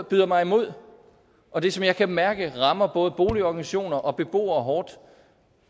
byder mig imod og det som jeg kan mærke rammer både boligorganisationer og beboere hårdt